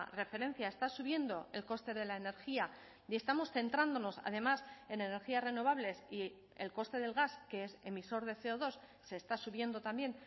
referencia está subiendo el coste de la energía y estamos centrándonos además en energías renovables y el coste del gas que es emisor de ce o dos se está subiendo también